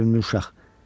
Sevincli uşaq.